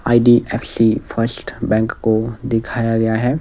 IDFC first bank को दिखाया गया है।